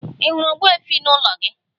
Ị hụrụ ogbuefi n'ụlọ ya?